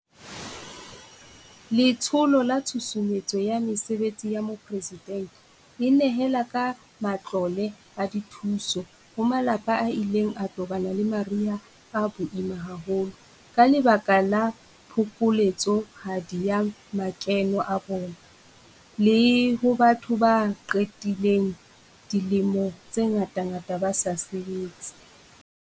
Letsholo la Tshusumetso ya Mesebetsi ya Mopresidente e nehela ka matlole a dithuso ho malapa a ileng a tobana le mariha a boima haholo ka lebaka la phokoletsohadi ya makeno a bona, le ho batho ba qedileng dilemo tse ngatangata ba sa sebetse.